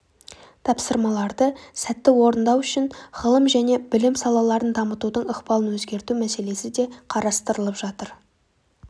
тапсырмаларды сәтті орындау үшін ғылым және білім салаларын дамытудың ықпалын өзгерту мәселесі де қарастырылып жатыр